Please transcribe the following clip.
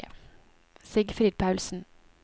Sigfrid Paulsen